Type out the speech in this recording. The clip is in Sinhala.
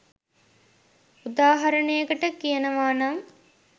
උදාහරණයකට කියනවනම්